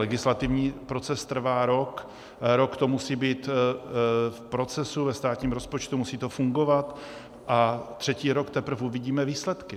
Legislativní proces trvá rok, rok to musí být v procesu ve státním rozpočtu, musí to fungovat, a třetí rok teprve uvidíme výsledky.